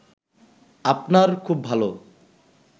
আপনার খুব ভালো